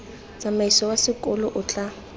tsamaiso wa sekolo o tla